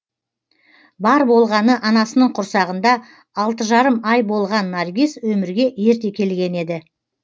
бар болғаны анасының құрсағында алты жарым ай болған наргиз өмірге ерте келген еді